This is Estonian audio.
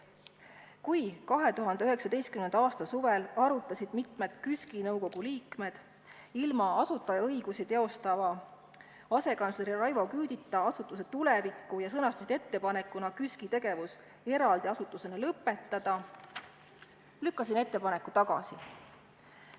Kui 2019. aasta suvel arutasid mitmed KÜSK-i nõukogu liikmed ilma asutajaõigusi teostava asekantsleri Raivo Küüdita asutuse tulevikku ja sõnastasid ettepanekuna KÜSK-i tegevus eraldi asutusena lõpetada, lükkasin ettepaneku tagasi.